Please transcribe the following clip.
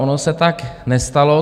Ono se tak nestalo.